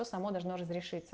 то само должно разрешиться